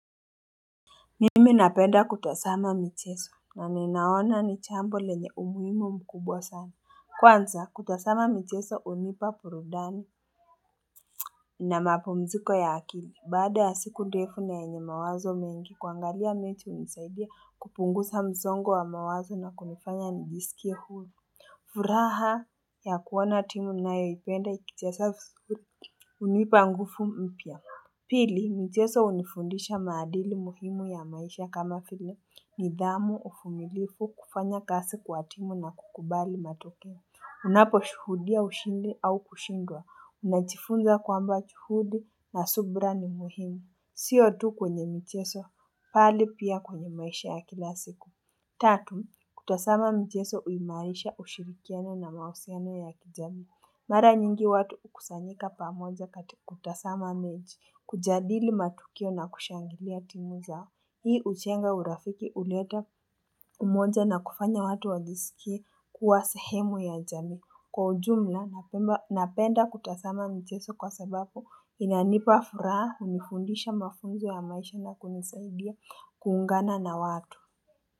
Nimi napenda kutasama micheso na ninaona ni chambo lenye umuhimu mkubwa sana kwanza kutasama micheso unipa purudani na mapumziko ya akili baada ya siku ndefu na yenye mawazo mengi kuangalia miti unisaidia kupungusa msongo wa mawazo na kunifanya nijisikie hulu furaha ya kuona timu nainayoyipenda ikichesa fisuri unipa ngufu mpya pili micheso unifundisha maadili muhimu ya maisha kama file nidhamu ufumilifu kufanya kasi kwatimu na kukubali matokeo Unapo shuhudia ushindi au kushindwa unachifunza kwamba chuhudi na subra ni muhimu siyo tu kwenye mcheso pali pia kwenye maisha ya kila siku Tatu kutasama mcheso uimarisha ushirikiano na mausiano ya kijamii Mara nyingi watu ukusanyika pamoja kati kutasama mechi kujadili matukio na kushangilia timu zao Hii uchenga urafiki uleta umoja na kufanya watu wajisikie kuwa sehemu ya jamii. Kwa ujumla napemba napenda kutasama mcheso kwa sabapo inanipa furaha unifundisha mafunzo ya maisha na kunisaidia kuungana na watu.